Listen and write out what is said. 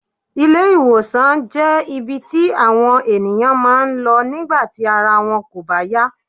Ilé- ìwòsàn jé ibi tí àwọn ènìyàn máa ń lọ nígbà tí ara wọn kò bá yá